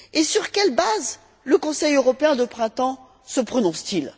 Sur quelle base, le Conseil européen de printemps se prononce t il?